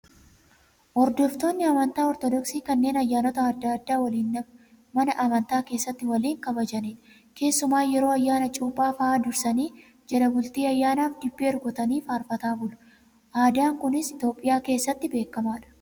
Hordoftoonni amantaa ortodoksii kanneen ayyaanota adda addaa waliin mana amantaa keessatti waliin kabajanidha. Keessumaa yeroo ayyaana cuuphaa fa'aa dursanii jala bultii ayyaanaaf dibbee rukutanii faarfataa bulu. Aadaan kunis Itoophiyaa keessatti beekamaadha.